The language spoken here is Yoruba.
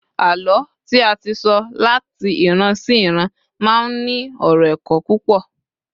àlọ tí a ti so lat ìran sí iran ma n ní ọrọ ẹkọ púpò